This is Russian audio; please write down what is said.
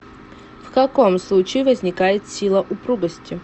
в каком случае возникает сила упругости